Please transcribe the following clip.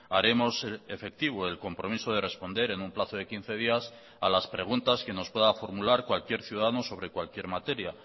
haremos efectivo el compromiso de responder en un plazo de quince días a las preguntas que nos pueda formular cualquier ciudadanos sobre cualquier materia